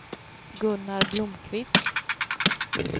Gunnar Blomqvist